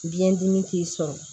Biyɛn dimi t'i sɔrɔ